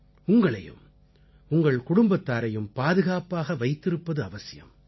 உங்களையும் உங்கள் குடும்பத்தாரையும் பாதுகாப்பாக வைத்திருப்பது அவசியம்